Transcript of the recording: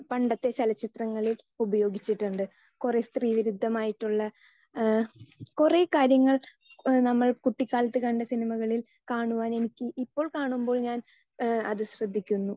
Speaker 2 പണ്ടത്തെ ചലച്ചിത്രങ്ങളിൽ ഉപയോഗിച്ചിട്ടുണ്ട് കുറെ സ്ത്രീവിരുദ്ധം ആയിട്ടുള്ള കുറേ കാര്യങ്ങൾ നമ്മൾ കുട്ടിക്കാലത്ത് കണ്ട സിനിമകളിൽ കാണുവാൻ എനിക്ക് ഇപ്പോൾ കാണുമ്പോൾ ഞാൻ അത് ശ്രദ്ധിക്കുന്നു.